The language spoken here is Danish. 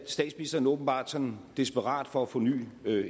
statsministeren åbenbart sådan desperat for at få ny